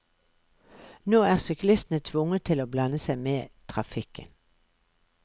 Nå er syklistene tvunget til å blande seg med trafikken.